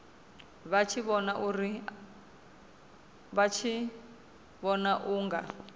vha tshi vhona u nga